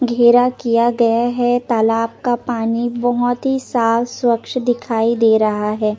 घेरा किया गया है तालाब का पानी बोहोत ही साफ सवच्छ दिखाई दे रहा है ।